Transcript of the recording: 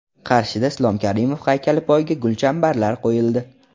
Qarshida Islom Karimov haykali poyiga gulchambarlar qo‘yildi.